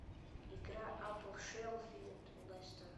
игра апл шеффилд лестер